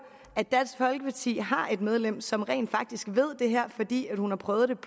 at dansk folkeparti har et medlem som rent faktisk ved det her fordi hun har prøvet